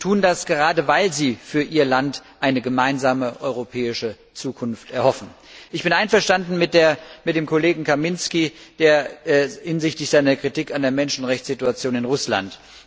Sie tun das, gerade weil sie für ihr Land eine gemeinsame europäische Zukunft erhoffen. Ich bin einverstanden mit dem Kollegen Kamiński hinsichtlich seiner Kritik an der Menschenrechtssituation in Russland.